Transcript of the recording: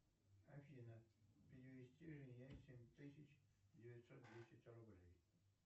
афина перевести мне семь тысяч девятьсот десять рублей